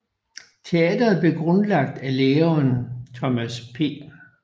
Teatret blev grundlagt af læreren Thomas P